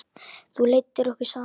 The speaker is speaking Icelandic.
Þú leiddir okkur saman.